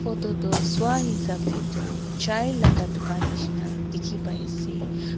photo tu swa hesap tey tu chai laga dukan nishina dikhi pai ase.